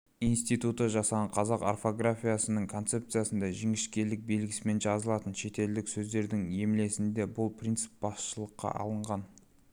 институты жасаған қазақ орфографиясының концепциясында жіңішкелік белгісімен жазылатын шеттілдік сөздердің емлесінде бұл принцип басшылыққа алынған